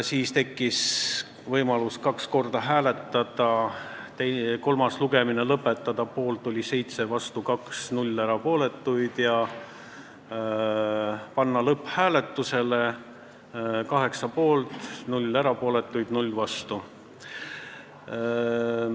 Meil tekkis võimalus ka kaks korda hääletada: kolmanda lugemise lõpetamise poolt oli 7 ja vastu 2 komisjoni liiget ning eelnõu lõpphääletusele panemise poolt oli 8 komisjoni liiget .